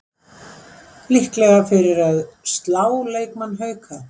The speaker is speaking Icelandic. Líklega fyrir að slá leikmann Hauka